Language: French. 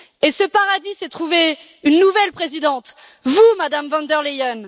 Et ce paradis s'est trouvé une nouvelle présidente vous, Madame von der Leyen.